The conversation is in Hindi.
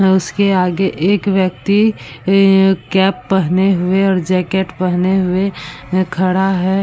उसके आगे एक व्यक्ति ए कैप पहने हुए और जैकेट पहने हुए है खड़ा है।